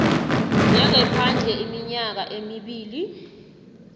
njengephandle iminyaka emibili